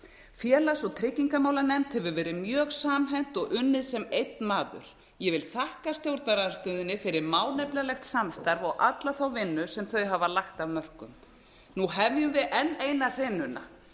félags og tryggingamálanefnd hefur verið mjög samhent og unnið sem einn maður ég vil þakka stjórnarandstöðunni fyrir málefnalegt samstarf og alla þá vinnu sem þau hafa lagt af mörkum nú hefjum við enn eina hrinuna